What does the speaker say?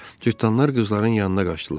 Cırtdanlar qızların yanına qaçdılar.